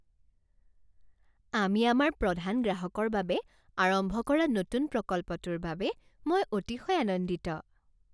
আমি আমাৰ প্ৰধান গ্ৰাহকৰ বাবে আৰম্ভ কৰা নতুন প্ৰকল্পটোৰ বাবে মই অতিশয় আনন্দিত।